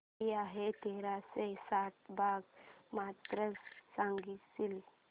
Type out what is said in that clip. किती आहे तेराशे साठ भाग पन्नास सांगशील